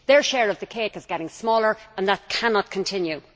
their share of the cake is getting smaller, and that cannot continue.